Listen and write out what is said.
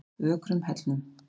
Ökrum Hellnum